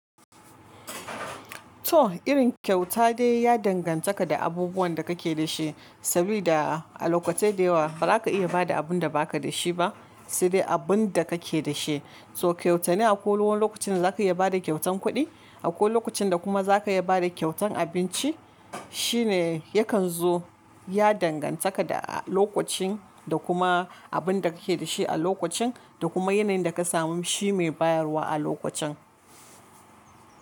To irin kyauta de ya dangantaka da abubuwan da ka ke da shi sabida a lokatai dayawa ba za ka iya bada abun da ba ka da shi ba, sai dai abun da kake da shi. So kyautane a ko wani lokacin da za ka iya bada kyautan kuɗi, a ko lokacin da kuma za ka iya bada kyautan abinci shine yakan zo ya dangantaka da lokacin da kuma abun da kake da shi a lokacin da kuma yanayin da ka samu. Shi mai bayarwa a lokacin.